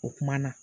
O kumana